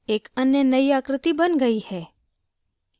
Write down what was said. एक अन्य नयी आकृति बन गयी है